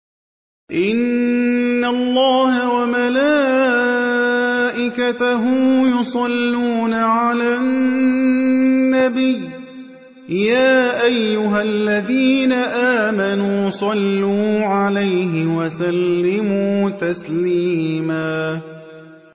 إِنَّ اللَّهَ وَمَلَائِكَتَهُ يُصَلُّونَ عَلَى النَّبِيِّ ۚ يَا أَيُّهَا الَّذِينَ آمَنُوا صَلُّوا عَلَيْهِ وَسَلِّمُوا تَسْلِيمًا